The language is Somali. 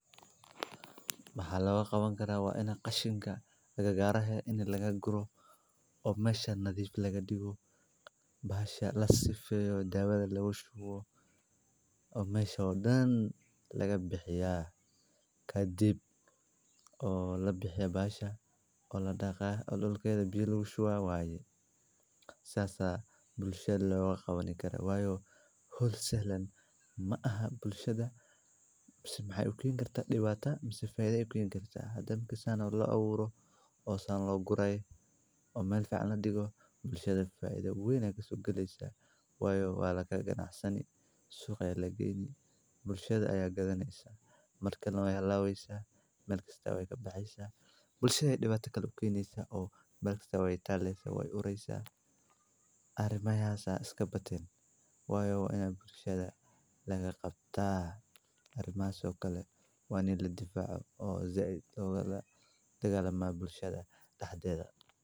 Maxa loga qawan karaa waa ini qashinka agagaar laga guro, waxay fududeeyaan shaqada beeraleyda, waxayna yaraynayaan waqtiga iyo dadaalka la galinayo hawsha goosashada. Tusaale ahaan, maqasta waxaa lagu jaraa laamaha ama miraha sida canabka, halka mindida loo adeegsado jarista khudaarta sida kabsarka ama yaanyada. Adeegsiga ashinka saxda ah ee nadiif ah wuxuu sidoo kale ka hortagaa cudurrada ku faafi kara dhirta, wuxuuna kordhiyaa tayada iyo nadiifnimada dalagga la gurayo kidagalama bulshadha dexdeda.